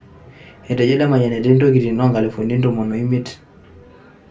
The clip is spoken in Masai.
Etejo Lemayian etii intokitin o nkalifuni ntomomoni o emiet